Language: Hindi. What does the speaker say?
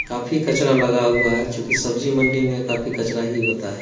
काफी कचरा लगा हुआ है चुकि सब्जी मंडी में काफी कचरा ही होता है।